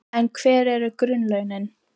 En hver eru grunnlaunin?